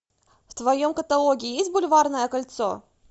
в твоем каталоге есть бульварное кольцо